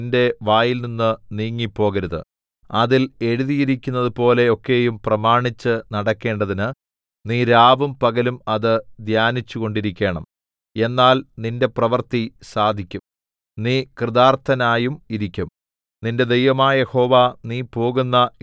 ഈ ന്യായപ്രമാണ പുസ്തകത്തിലുള്ളത് നിന്റെ വായിൽനിന്ന് നീങ്ങിപ്പോകരുത് അതിൽ എഴുതിയിരിക്കുന്നതുപോലെ ഒക്കെയും പ്രമാണിച്ച് നടക്കേണ്ടതിന് നീ രാവും പകലും അത് ധ്യാനിച്ചുകൊണ്ടിരിക്കേണം എന്നാൽ നിന്റെ പ്രവൃത്തി സാധിക്കും നീ കൃതാർഥനായും ഇരിക്കും